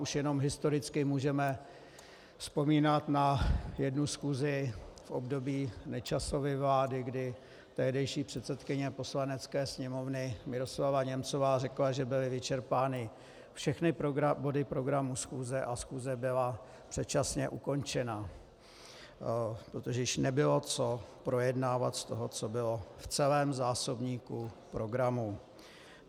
Už jenom historicky můžeme vzpomínat na jednu schůzi v období Nečasovy vlády, kdy tehdejší předsedkyně Poslanecké sněmovny Miroslava Němcová řekla, že byly vyčerpány všechny body programu schůze, a schůze byla předčasně ukončena, protože již nebylo co projednávat z toho, co bylo v celém zásobníku programu.